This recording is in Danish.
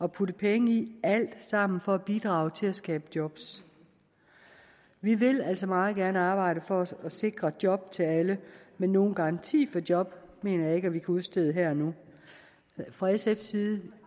at putte penge i er alt sammen for at bidrage til at skabe job vi vil altså meget gerne arbejde for at sikre job til alle men nogen garanti for job mener jeg ikke at vi kan udstede her og nu fra sfs side